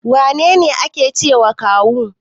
Wane ne ake cewa kawu?